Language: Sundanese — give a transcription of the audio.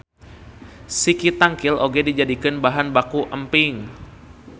Siki tangkil oge dijadikeun bahan baku emping.